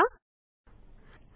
आता हायपरलिंक करणे शिकूया